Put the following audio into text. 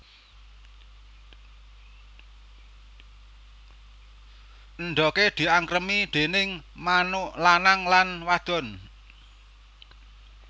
Endhoge diangkremi déning manuk lanang lan wadon